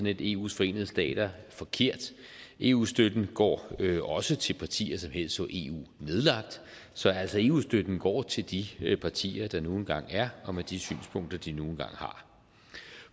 et eus forenede stater forkert eu støtten går også til partier som helst så eu nedlagt så altså eu støtten går til de partier der nu engang er og med de synspunkter de nu engang har